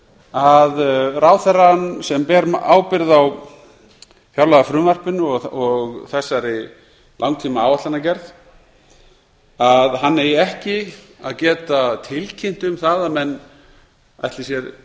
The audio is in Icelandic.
að ráðherrann sem ber ábyrgð á fjárlagafrumvarpinu og þessari langtímaáætlanagerð eigi ekki að geta tilkynnt um það að menn ætli sér tímabundið